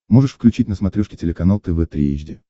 можешь включить на смотрешке телеканал тв три эйч ди